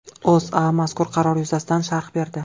O‘zA mazkur qaror yuzasidan sharh berdi .